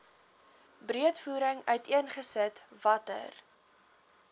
breedvoerig uiteengesit watter